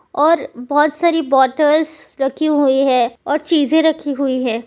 और बहुत सारी बॉटल्स रखी हुई है और चीजें रखी हुई है।